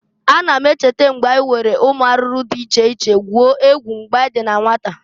Ana m echeta k'anyị si were ụmụ arụrụ dị iche iche gwuo egwu mgbe anyị dị na nwata.